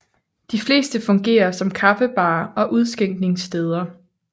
De fleste fungerer som kaffebarer og udskænkningssteder